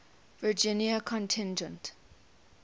virginia contingent